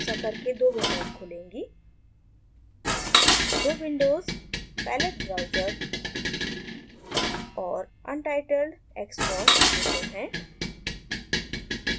ऐसा करके दो विंडोज़ खुलेंगी दो विंडोज़ palette browser और untitledxcos विंडो हैं